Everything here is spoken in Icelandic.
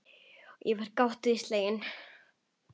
Ég var gáttuð og slegin.